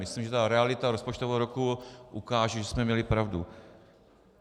Myslím, že ta realita rozpočtového roku ukáže, že jsme měli pravdu.